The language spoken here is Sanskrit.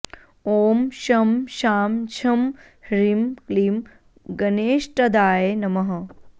ॐ शं शां षं ह्रीं क्लीं गणेष्ठदाय नमः